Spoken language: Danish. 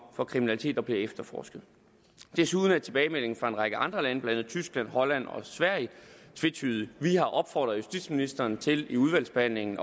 for kriminalitet der bliver efterforsket desuden er tilbagemeldingen fra en række andre lande blandt andet tyskland holland og sverige tvetydig vi har opfordret justitsministeren til i udvalgsbehandlingen